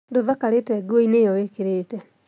Ndũthakarĩte nguoinĩ ĩyo wĩkĩrĩte